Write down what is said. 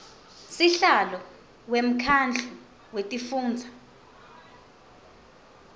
sihlalo wemkhandlu wetifundza